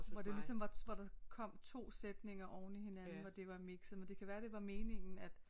Hvor det ligesom var hvor der kom 2 sætninger oveni hinanden hvor det var mikset men det kan være det var meningen at